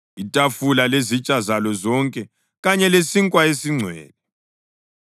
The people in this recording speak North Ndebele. itafula lezitsha zalo zonke kanye lesinkwa esiNgcwele;